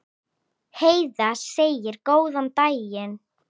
Heiða segir góðan daginn!